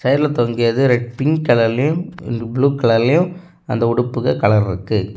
கடைல தொங்கியது red pink கலர்லயும் ப்ளூ கலர்லயும் அந்த உடுப்புகள் கலர் இருக்கு.